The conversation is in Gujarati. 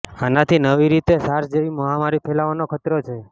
આનાથી નવી રીતે સાર્સ જેવી મહામારી ફેલાવાનો ખતરો છે